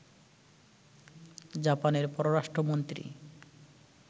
জাপানের পররাষ্ট্রমন্ত্রী